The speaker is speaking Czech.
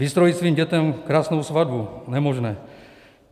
Vystrojit svým dětem krásnou svatbu, nemožné.